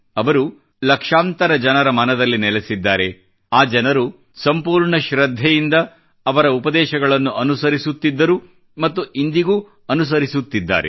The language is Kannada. ಅವರು ಲಕ್ಷಾಂತರ ಜನರ ಮನದಲ್ಲಿ ನೆಲೆಸಿದ್ದಾರೆ ಆ ಜನರು ಸಂಪೂರ್ಣ ಶ್ರದ್ಧೆಯಿಂದ ಅವರ ಉಪದೇಶಗಳನ್ನು ಅನುಸರಿಸುತ್ತಿದ್ದರು ಮತ್ತು ಇಂದಿಗೂ ಅನುಸರಿಸುತ್ತಿದ್ದಾರೆ